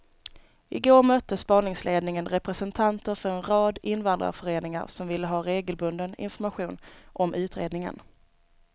I går mötte spaningsledningen representanter för en rad invandrarföreningar som vill ha regelbunden information om utredningen.